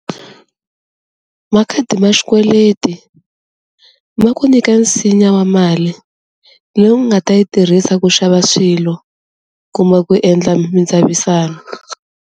Makhadi ma xikweleti ma ku nyika nsinya wa mali leyi u nga ta yi tirhisa ku xava swilo ku ma ku endla mindzavisano.